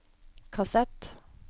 kassett